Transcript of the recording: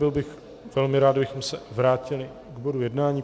Byl bych velmi rád, kdybychom se vrátili k bodu jednání.